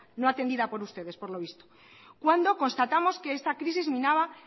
no atendida por ustedes por lo visto cuando constatamos que esta crisis minaba